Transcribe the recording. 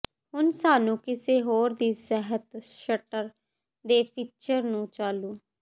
ਹੁਣ ਸਾਨੂੰ ਕਿਸੇ ਹੋਰ ਦੀ ਸਿਹਤ ਸਟਰ ਦੇ ਫੀਚਰ ਨੂੰ ਚਾਲੂ